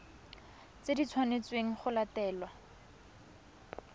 tse di tshwanetsweng go latelwa